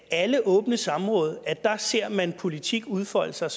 alle åbne samråd ser man politik udfolde sig